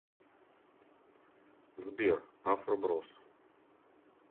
сбер афро брос